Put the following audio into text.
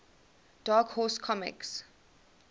dark horse comics